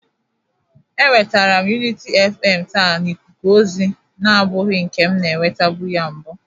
Enwetere m Uniti FM taa n'ikuku ozi nabụghi nke m na-enwetebụ ya mbụ.